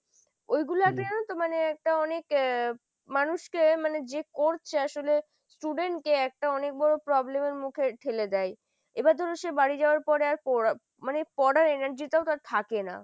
ওইগুলতেই যেনো তো মানে একটা অনেক আ মানুষকে মানে যে করছে আসোলে student কে একটা অনেক বড় problem এর মুখে ঠেলে দেয় এবার ধরুন সে বাড়ি যাওয়ার পরে আর পড়া মানে পড়ার energy টাও তার থাকে না।